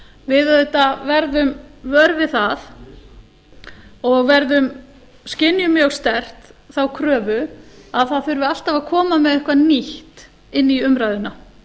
við auðvitað verðum vör við það og skynjum mjög sterkt þá kröfu að það þurfi alltaf að koma með eitthvað nýtt inn í umræðuna